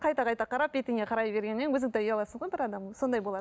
қайта қайта қарап бетіңе қарай бергеннен өзің де ұяласың ғой бір адамның сондай болады